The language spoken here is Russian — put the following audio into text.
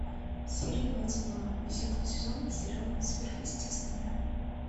серия двадцать два десятого сезона сериала сверхъестественное